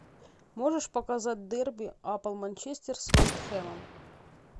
можешь показать дерби апл манчестер с вестхэмом